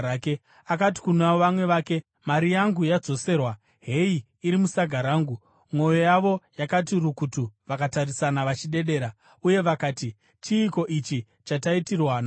Akati kuna vamwe vake, “Mari yangu yadzoserwa. Heyi iri musaga rangu.” Mwoyo yavo yakati rukutu vakatarisana vachidedera, uye vakati, “Chiiko ichi chataitirwa naMwari?”